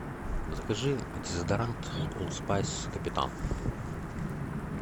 закажи дезодорант олд спайс капитан